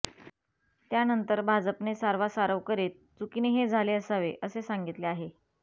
त्यानंतर भाजपने सारवासारव करित चुकीने हे झाले असावे असे सांगितले आहे